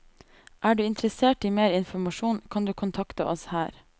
Er du interessert i mer informasjon, kan du kontakte oss her.